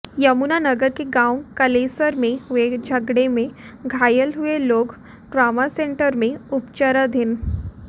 यमुनानगर के गांव कलेसर में हुए झगड़े में घायल हुए लोग ट्रामा सेंटर में उपचाराधीन